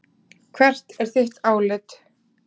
Hvert er þitt álit?